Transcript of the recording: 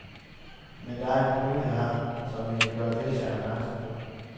Men der er en pointe her, som vi vil gøre deltagerne opmærksom på.